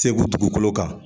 Segu dugukolo kan